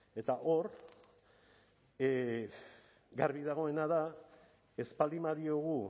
eta hor garbi dagoena da ez baldin badiogu